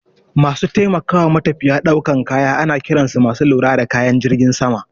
Masu taimakawa matafiya daukan kaya ana kiran su masu lura da kayan jirgin sama.